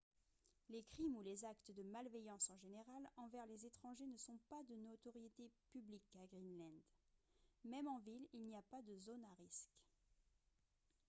"les crimes ou les actes de malveillance en général envers les étrangers ne sont pas de notoriété publique à greenland. même en ville il n'y a pas de "zones à risque""